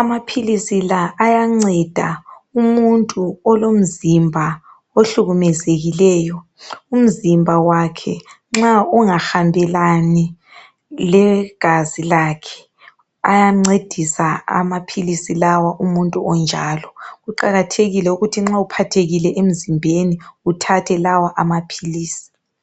amaphilizi lawa ayanceda umuntu olomzimba ohlukumezekileyo umzimba wakhe nxa ungahambelani legazi lakhe ayancedisa amaphilizi lawa umuntu onjalo kuqakathekile ukuthi nxa uphathekile emzimbeni uthathe lawa amaphilizi